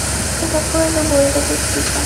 что такое любовь запусти ка